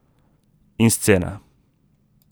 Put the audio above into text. In scena.